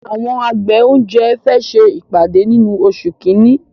Àwọn àgbẹ̀ oúnjẹ fẹ ṣe ìpàdé nínú oṣù kínní